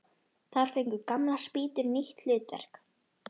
Þar fengu gamlar spýtur nýtt hlutverk.